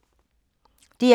DR K